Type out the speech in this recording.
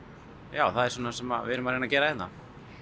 já það er svona það sem við erum að reyna að gera hérna